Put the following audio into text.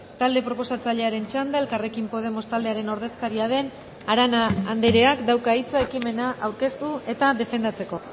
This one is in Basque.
talde proposatzailearen txanda elkarrekin podemos taldearen ordezkaria den arana andreak dauka hitza ekimena aurkeztu eta defendatzeko